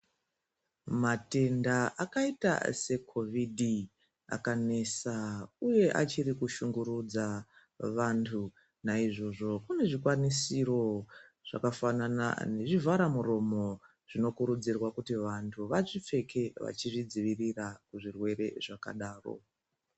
Matenda akaita sekhovhidhi akanesa, uye achiri kushungurudza vantu. Naizvozvo, kune zvikwanisiro zvakafanana nezvivhara muromo, zvino kurudzirwa kuti vantu vazvipfeke vachi zvidzivirira kuzvirwere zvakadaro.